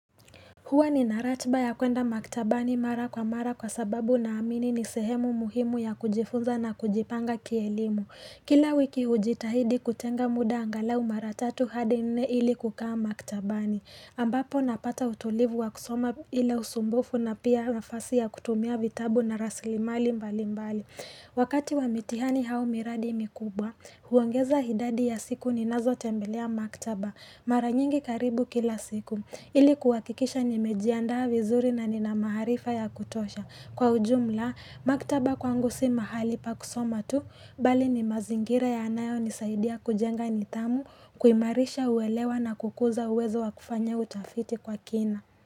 Huwa nina ratiba ya kuenda maktabani mara kwa mara kwa sababu naamini ni sehemu muhimu ya kujifunza na kujipanga kielimu. Kila wiki hujitahidi kutenga muda angalau mara tatu hadi nne ili kukaa maktabani. Ambapo napata utulivu wa kusoma bila usumbufu na pia nafasi ya kutumia vitabu na rasilimali mbali mbali. Wakati wa mitihani au miradi mikubwa, huongeza idadi ya siku ninazo tembelea maktaba. Mara nyingi karibu kila siku. Ili kuhakikisha nimejianda vizuri na nina maarifa ya kutosha. Kwa ujumla, maktaba kwangu si mahali pa kusoma tu, bali ni mazingira yaanayonisaidia kujenga nidhamu, kuimarisha uelewa na kukuza uwezo wa kufanya utafiti kwa kina.